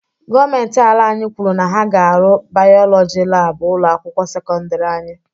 Gọọmenti ala anyị kwuru na ha ga arụ bayọlọji laabụ ụlọ akwụkwọ sekọndiri anyị